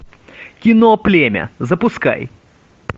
кино племя запускай